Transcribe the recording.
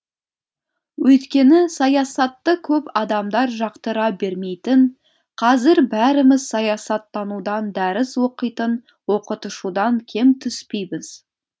өйткені саясатты көп адамдар жақтыра бермейтін қазір бәріміз саясаттанудан дәріс оқитын оқытушыдан кем түспейміз